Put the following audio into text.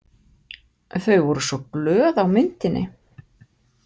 Þau voru svo glöð á myndinni.